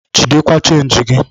Jidekwa chenji gi!